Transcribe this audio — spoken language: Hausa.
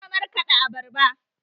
Ina markaɗa abarba.